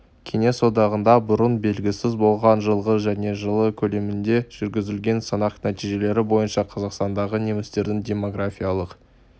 кеңес одағында бұрын белгісіз болған жылғы және жылы көлемінде жүргізілген санақ нәтижелері бойынша қазақстандағы немістердің демографиялық